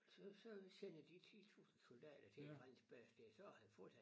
Så så sender de 10 tusind soldater til en fransk base dér så han fortsat